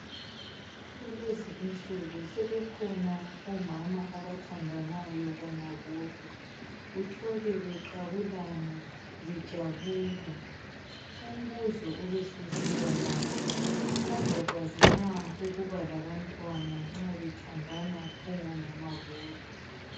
kulezi isuku sebekhona omama abathandanayo bona bodwa uthole beqhabulana bejabula umbuzo ebesesiba lapha bazabakwazi na ukuba labantwana nxa bethandanwa bengomama bodwa